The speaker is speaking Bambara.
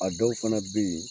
A dɔw fana be yen